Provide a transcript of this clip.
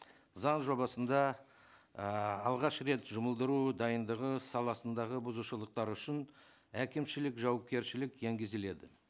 заң жобасында ііі алғаш рет жұмылдыру дайындығы саласындағы бұзушылықтар үшін әкімшілік жауапкершілік енгізіледі